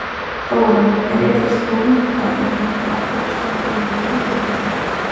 Þóra: En er þessi dómur í dag, er hann ekki áfellisdómur yfir vinnubrögðum ykkar?